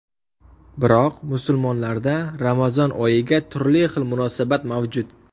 Biroq musulmonlarda Ramazon oyiga turli xil munosabat mavjud.